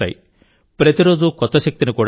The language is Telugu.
ప్రతిరోజూ కొత్త శక్తిని కూడా ఇస్తాయి